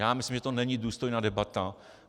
Já myslím, že to není důstojná debata.